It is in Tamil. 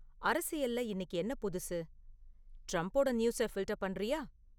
அரசியல்ல இன்னிக்கு என்ன புதுசு ட்ரம்ப்போட நியூஸ ஃபில்ட்டர் பண்ணுறியா?